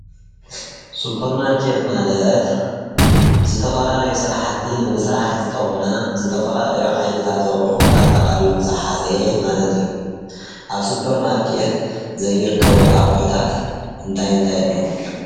ስፖር ማርኬት ማለት ዝተፈላለዩ ስራሕቲ ንምስራሕ ዝጠቅሙና ዝተፈላለዩ ዓይነታት ኣቑሑት ኣጠቓሊሉ ዝሓዘ ማለት እዩ። ኣብ ስፖር ማርኬት ዘይርከቡኣቑሑታት እንታይ እንታይ ኣለው?